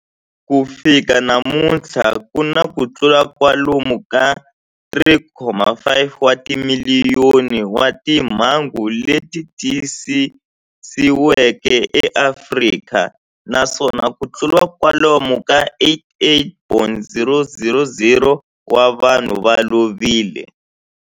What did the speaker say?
Ku fika namuntlha ku na kutlula kwalomu ka 3.5 wa timiliyoni wa timhangu leti tiyisisiweke eAfrika, naswona kutlula kwalomu ka 88,000 wa vanhu va lovile.